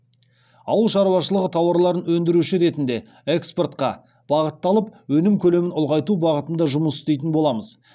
ауыл шаруашылығы тауарларын өндіруші ретінде экспортқа бағытталып өнім көлемін ұлғайту бағытында жұмыс істейтін боламыз